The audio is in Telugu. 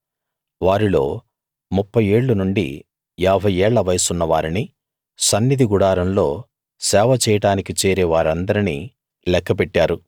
వారిల్లో ముప్ఫై ఏళ్ళు నుండి యాభై ఏళ్ల వయసున్న వారిని సన్నిధి గుడారంలో సేవ చేయడానికి చేరే వారిందర్నీ లెక్క పెట్టారు